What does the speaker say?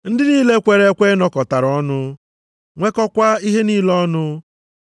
Ndị niile kwere ekwe nọkọtara ọnụ, nwekọkwaa ihe niile ọnụ.